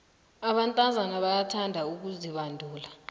abentazana bayakuthanda ukuzibandula